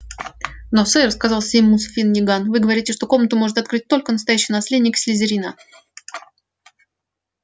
но сэр сказал симус финниган вы говорите что комнату сможет открыть только настоящий наследник слизерина